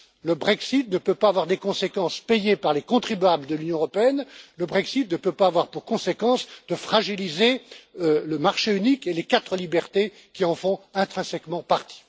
Le Brexit ne peut pas avoir des conséquences payées par les contribuables de l'Union européenne. Le Brexit ne peut pas avoir pour conséquence de fragiliser le marché unique et les quatre libertés qui en font intrinsèquement partie.